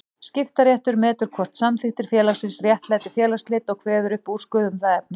Skiptaréttur metur hvort samþykktir félagsins réttlæti félagsslit og kveður upp úrskurð um það efni.